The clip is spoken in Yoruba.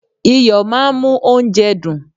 Iyo máà ń mú óúnjẹ dùn.